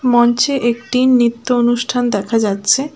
মঞ্চে একটি নৃত্য অনুষ্ঠান দেখা যাচ্ছে।